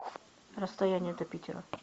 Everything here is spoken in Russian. расстояние до питера